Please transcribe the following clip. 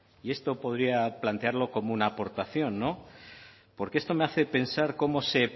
y esto podría plantearlo como una aportación no porque esto me hace pensar cómo se